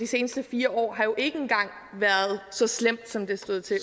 seneste fire år har jo engang været så slemt som det stod til